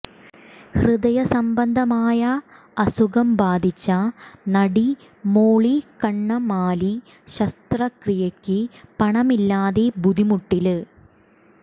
ഹൃദയ സംബന്ധമായ അസുഖം ബാധിച്ച നടി മോളി കണ്ണമാലി ശസ്ത്രക്രിയയ്ക്ക് പണമില്ലാതെ ബുദ്ധിമുട്ടില്